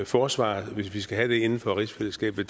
forsvar hvis vi skal have det inden for rigsfællesskabet